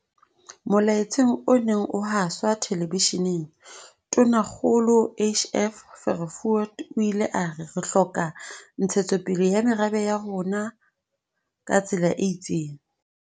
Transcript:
Molaetseng o neng o haswa telebesheneng, Tonakgolo HF Verwoerd o ile a re, "Re hloka ntshetsopele ya merabe ya rona ka tsela e itseng."